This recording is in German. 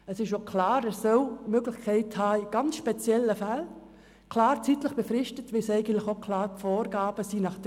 Es ist auch klar, dass er die Möglichkeit haben muss, in ganz speziellen Fällen zeitlich befristete Ausnahmen von diesem Regelfall zu machen.